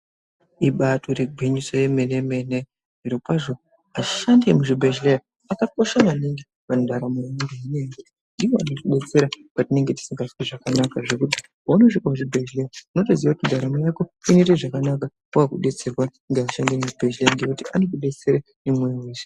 Ibatori gwinyiso remene mene zviro kwazvo ashandi emuzvibhedhlera akakosha maningi mundaramo yedu ndiwo anotibetsera patinenge tisingazwi zvakanaka zvekuti paunosvika kuzvibhedhlera unotozwa kuti ndaramo Yako inosvika zvakanaka pakudetserwa nevashandi vemuzvibhedhlera nekuti vanotidetsera nemoyo wese.